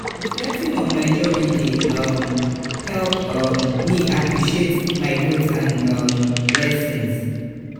reflecting on my journey dey um help um me appreciate my growth and um lessons.